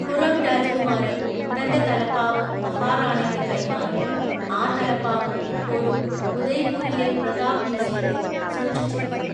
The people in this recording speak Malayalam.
ഖുറം രാജകുമാരൻ തന്റെ തലപ്പാവ് മഹാറാണയ്ക്ക് കൈമാറി, ആ തലപ്പാവ് ഇപ്പോഴും ഉദയ്പൂരിലെ പ്രതാപ് മ്യൂസിയത്തിൽ സൂക്ഷിച്ചിരിക്കുന്നു.